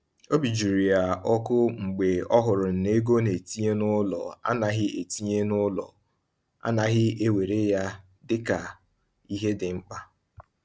Obi jụrụ ya ọkụ mgbe ọ hụrụ na ego ọ na-etinye n’ụlọ anaghị na-etinye n’ụlọ anaghị ewere ya dịka ihe dị mkpa.